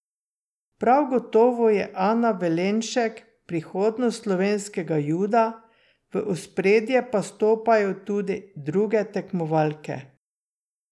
Prav gotovo je Ana Velenšek prihodnost slovenskega juda, v ospredje pa stopajo tudi druge tekmovalke.